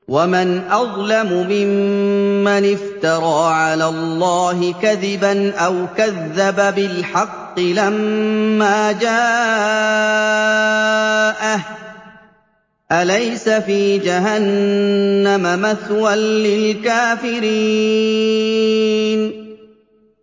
وَمَنْ أَظْلَمُ مِمَّنِ افْتَرَىٰ عَلَى اللَّهِ كَذِبًا أَوْ كَذَّبَ بِالْحَقِّ لَمَّا جَاءَهُ ۚ أَلَيْسَ فِي جَهَنَّمَ مَثْوًى لِّلْكَافِرِينَ